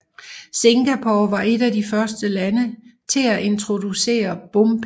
Singapore var et af de første lande til at introducere bompenge